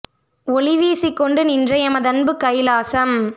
ஒளி வீசிக் கொண்டு நின்ற எமதன்புக் கைலாசம்